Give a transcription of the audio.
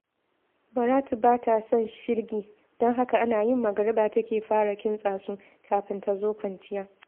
Baratu ba ta son shirgi, don haka ana yin magariba take fara kintsa su, kafin ta zo kwanciya